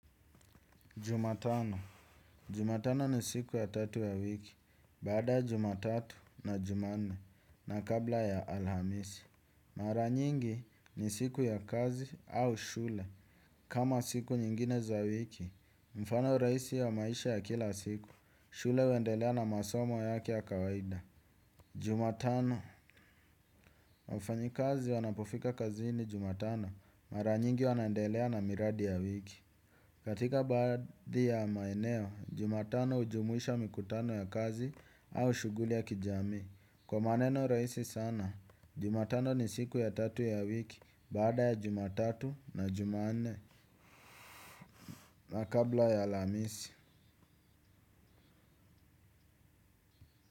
Jumatano. Jumatano ni siku ya tatu ya wiki. Baada jumatatu na jumanne na kabla ya alhamisi. Mara nyingi ni siku ya kazi au shule. Kama siku nyingine za wiki, mfano rahisi ya maisha ya kila siku, shule huwendelea na masomo yake ya kawaida. Jumatano wafanyi kazi wanapofika kazi ni jumatano mara nyingi wanaendelea na miradi ya wiki. Katika baadhi ya maeneo, jumatano ujumuisha mikutano ya kazi au shuguli ya kijamii. Kwa maneno rahisi sana Jumatano ni siku ya tatu ya wiki baada ya jumatatu na jumanne na kabla ya alamisi.